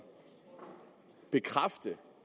bekræfte